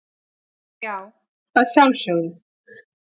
Já, að sjálfsögðu.